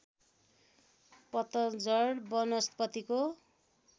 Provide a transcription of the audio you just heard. पतझड वनस्पतिको